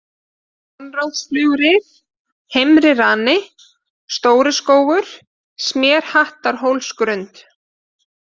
Konráðsflögurif, Heimri-Rani, Stóriskógur, Smérhattarhólsgrund